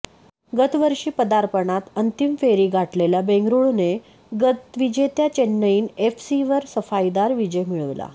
गतवर्षी पदार्पणात अंतिम फेरी गाठलेल्या बेंगळुरूने गतविजेत्या चेन्नईयीन एफसीवर सफाईदार विजय मिळविला